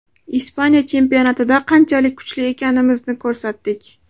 Ispaniya chempionatida qanchalik kuchli ekanimizni ko‘rsatdik.